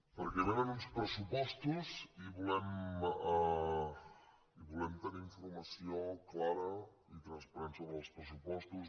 perquè vénen uns pressupostos i volem tenir informació clara i transparent sobre els pressupostos